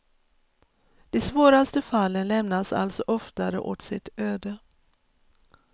De svåraste fallen lämnas alltså oftare åt sitt öde.